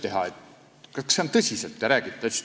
Küsisin: "Kas te tõsiselt räägite?